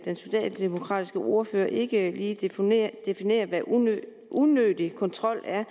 socialdemokratiske ordfører ikke lige definere hvad unødig unødig kontrol er